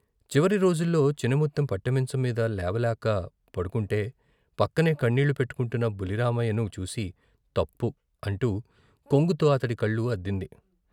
చివరి రోజుల్లో చినముత్తెం పట్టెమంచం మీద లేవలేక పడుకంటే పక్కనే కన్నీళ్లు పెట్టుకుంటున్న బుల్లి రామయ్యను చూసి తప్పు అంటూ కొంగుతో అతని కళ్లు అద్దింది.